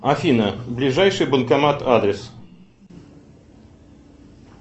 афина ближайший банкомат адрес